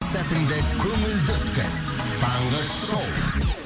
сәтіңді көңілді өткіз таңғы шоу